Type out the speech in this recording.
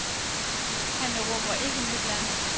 Han erobrer ikke nyt land.